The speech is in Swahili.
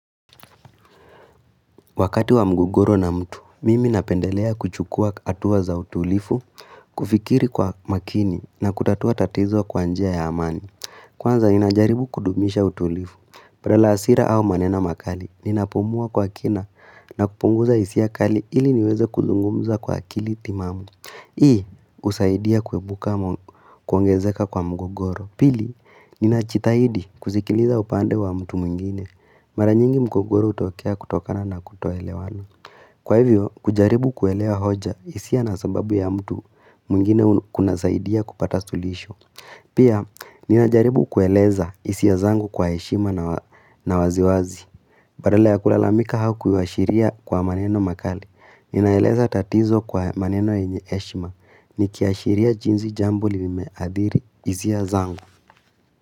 Wakati wa mugogoro na mtu, mimi napendelea kuchukua hatuwa za utulivu, kufikiri kwa makini na kutatua tatizo kwa njia ya amani. Kwanza ninajaribu kudumisha utulivu, badala ya hasira au manena makali, ninapumua kwa kina na kupunguza hisia kali ili niweze kuzungumuza kwa akili timamu. Hii, husaidia kuepuka kuongezeka kwa mgogoro. Pili, nina jitahidi kusikiliza upande wa mtu mwingine. Mara nyingi mgogoro hutokea kutokana na kutoelewana. Kwa hivyo, kujaribu kuelewa hoja hisia na sababu ya mtu mwingine kuna saidia kupata suluhisho. Pia, ninajaribu kueleza hisia zangu kwa heshima na waziwazi. Badala ya kulalamika au kuashiria kwa maneno makali, ninaeleza tatizo kwa maneno yenye heshima, nikiaashiria jinsi jambo limeadhiri hisia zangu.